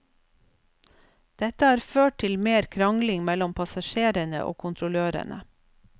Dette har ført til mer krangling mellom passasjerene og kontrollørene.